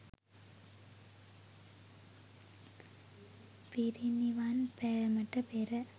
පිරිනිවන් පෑමට පෙර